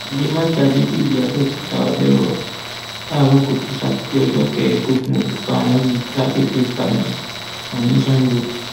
àdèmàkè adébíyí abẹọkúta ọdẹ rọ láàárọ kùtù sátidé ọjọ kẹẹẹdógún oṣù karùnún yìí lágbègbè ipamẹsàn ní sango